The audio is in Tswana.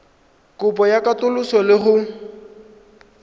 kopo ya katoloso le go